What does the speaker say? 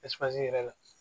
yɛrɛ la